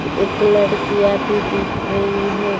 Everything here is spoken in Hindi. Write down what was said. एक लड़कीया भी दिख रही है।